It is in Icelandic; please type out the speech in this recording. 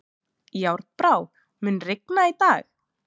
Járnbrá, mun rigna í dag?